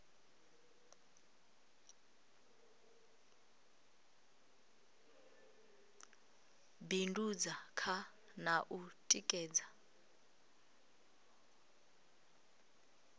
bindudza kha na u tikedza